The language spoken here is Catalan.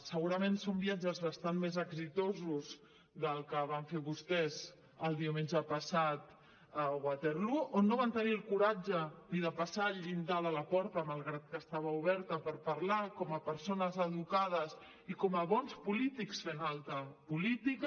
segurament són viatges bastant més exitosos del que van fer vostès el diumenge passat a waterloo on no van tenir el coratge ni de passar el llindar de la porta malgrat que estava oberta per parlar com a persones educades i com a bons polítics fent alta política